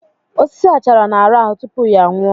Osisi achara na-arahụ tupu ya nwụọ